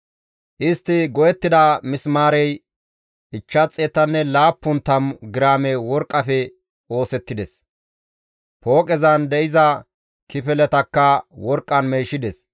Istti go7ettida misimaarey 570 giraame worqqafe oosettides. Pooqezan de7iza kifiletakka worqqan meeshides.